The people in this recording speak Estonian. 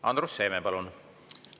Andrus Seeme, palun!